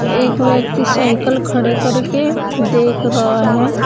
एक व्यक्ति साइकल खड़े करके देख रहा है।